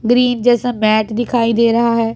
Green जैसा mat दिखाई दे रहा हैं।